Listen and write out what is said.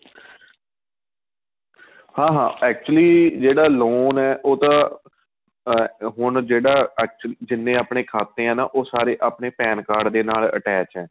ਹਾਂ ਹਾਂ actually ਜਿਹੜਾ loan ਏ ਉਹ ਤਾਂ ਅਹ ਹੁਣ ਜਿਹੜਾ actual ਜਿੰਨੇ ਆਪਣੇਂ ਖਾਤੇ ਏ ਨਾ ਉਹ ਸਾਰੇ ਆਪਣੇਂ Pan card ਦੇ ਨਾਲ attach ਏ